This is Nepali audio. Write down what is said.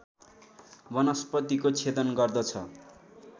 वनस्पतिको छेदन गर्दछ